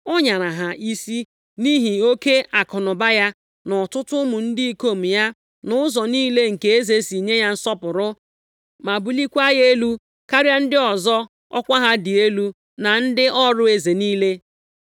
ọ nyara ha isi nʼihi oke akụnụba ya, na ọtụtụ ụmụ ndị ikom ya, nʼụzọ niile nke eze si nye ya nsọpụrụ ma bulikwaa ya elu karịa ndị ọzọ ọkwa ha dị elu na ndị ọrụ eze niile.